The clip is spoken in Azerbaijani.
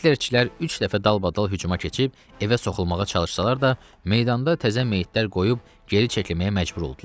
Hitlerçilər üç dəfə dalbadal hücuma keçib evə soxulmağa çalışsalar da, meydanda təzə meyitlər qoyub geri çəkilməyə məcbur oldular.